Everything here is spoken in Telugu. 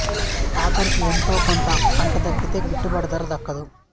ఆఖరికి ఎంతో కొంత పంట దక్కితే గిట్టుబాటు ధర దక్కదు